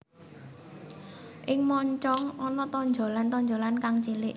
Ing moncong ana tonjolan tonjolan kang cilik